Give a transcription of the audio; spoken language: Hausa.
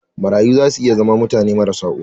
Marayu za su iya zama mutane marasa uwa.